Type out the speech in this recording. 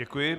Děkuji.